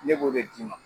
Ne b'o de d'i ma